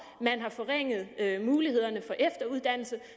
man har forringet mulighederne for efteruddannelse